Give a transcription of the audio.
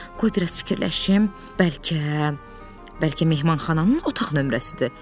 Qoy biraz fikirləşim, bəlkə, bəlkə mehmanxananın otaq nömrəsidir?